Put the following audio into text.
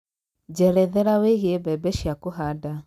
njerethera wĩĩgie bembe cĩa kũhanda